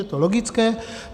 Je to logické.